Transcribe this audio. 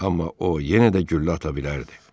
Amma o yenə də güllə ata bilərdi.